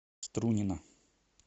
струнино